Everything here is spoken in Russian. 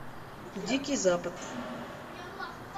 дикий запад